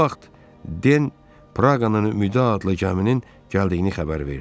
Bu vaxt Den Praqanın Ümidə adlı gəminin gəldiyini xəbər verdi.